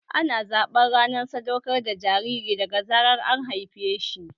Ana zaɓar rana sadaukar da jariri daga zarar an haife shi